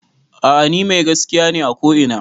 A'a ni mai gaskiya ne a ko ina